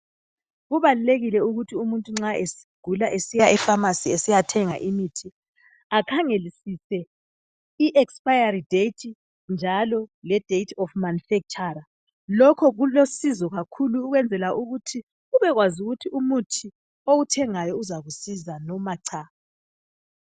Kubalulekile ukuthi umuntu nxa egula esiya efamasi esiyathenga. Imithi akhangelisise iexpire date njalo le date of manufacture lokhu kulusizo kakhulu ukwenzela ukuthi ubekwazi ukuthi umuthi owuthengayo uzakusiza loma cha.